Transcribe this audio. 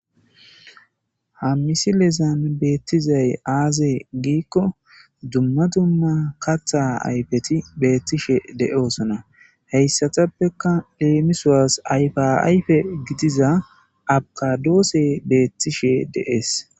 Ha misilezan beettizay aazee giikko dumma dumma katha aypeti beettishe de7oosona heyssatappeka leemisowas ayfaayfe gidiza abqadoose beettishe de'ees.